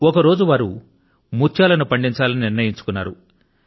ఒక రోజు వారు ముత్యాల ను పండించాలని నిర్ణయించుకున్నారు